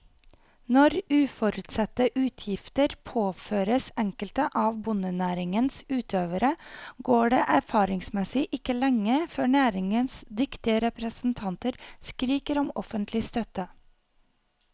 Når uforutsette utgifter påføres enkelte av bondenæringens utøvere, går det erfaringsmessig ikke lenge før næringens dyktige representanter skriker om offentlig støtte.